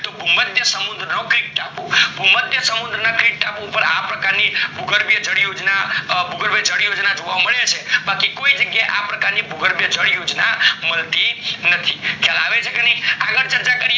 તો સમૃદ્ધ ટાપુ પર આ પ્રકારની યોજના જોવા મળે છે બાકી ક્યાય જગ્યા એ ભૂગોળ જાય યોજના મળતી નથી ખ્યાલ આવે છે કે નાય આગળ ચર્ચા કરીએ